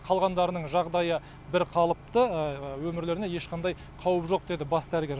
қалғандарының жағдайы бірқалыпты өмірлеріне ешқандай қауіп жоқ деді бас дәрігер